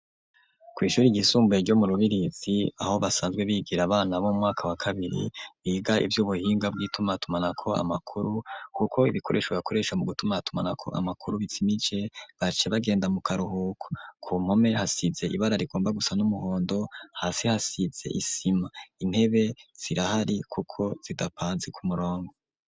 Kw'ishuri ryisumbuye ryo mu Rubirizi aho basanzwe bigira abana bo mu mwaka wa kabiri biga ivy'ubuhinga bw'itumatumanako amakuru, kuko ibikoresho bakoresha mu gutumatumanako amakuru bizimije baciye bagenda mu karuhuko, ku mpome hasize ibara rigomba gusa n'umuhondo, hasi hasize isima, intebe zirahari kuko zidapanze ku murongo.